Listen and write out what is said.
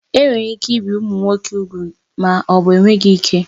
Enwere ike ibi ụmụ nwoke úgwù ma ọ bụ enweghị ike